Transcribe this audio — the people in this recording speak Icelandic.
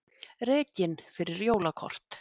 Rekinn fyrir jólakort